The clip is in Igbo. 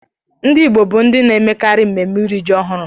Ndị Igbo bụ ndị na-emekarị mmemme iri ji ọhụrụ